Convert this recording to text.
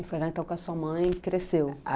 E foi lá então que a sua mãe cresceu?